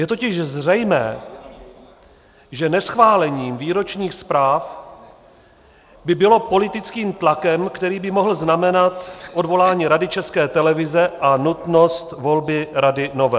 Je totiž zřejmé, že neschválení výročních zpráv by bylo politickým tlakem, který by mohl znamenat odvolání Rady České televize a nutnost volby rady nové.